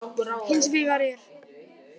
Hins vegar er